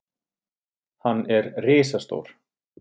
Hann er risastór.